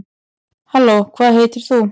halló hvað heitir þú